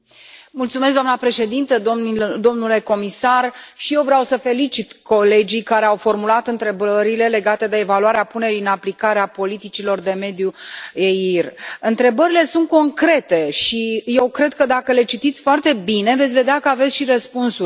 Mulțumesc, doamna președintă, domnule comisar, și eu vreau să felicit colegii care au formulat întrebările legate de evaluarea punerii în aplicare a politicilor de mediu EIR. Întrebările sunt concrete și eu cred că dacă le citiți foarte bine veți vedea că aveți și răspunsuri.